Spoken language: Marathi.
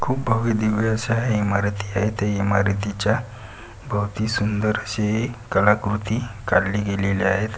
खूप भव्य दिव्य असे इमारती आहे ते इमारतीच्या भवती सुंदर असे कलाकृती काडली गेलीली आहेत.